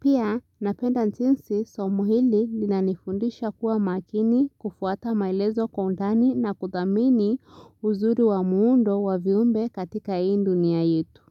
Pia, napenda jinsi, somo hili linanifundisha kuwa makini kufuata maelezo kwa undani na kuthamini uzuri wa muundo wa viumbe katika hii dunia yetu.